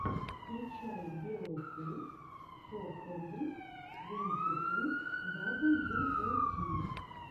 включай беовулф фо хандрэд твэнти ту дабл ю о ти